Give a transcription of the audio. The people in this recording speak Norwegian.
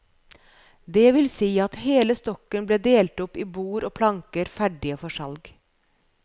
Det vil si at hele stokken ble delt opp i bord og planker ferdige for salg.